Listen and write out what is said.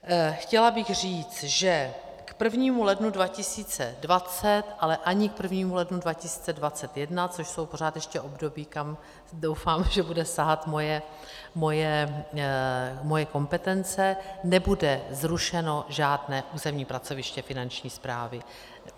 Chtěla bych říci, že k 1. lednu 2020, ale ani k 1. lednu 2021, což jsou pořád ještě období, kam, doufám, že bude sahat moje kompetence, nebude zrušeno žádné územní pracoviště Finanční správy.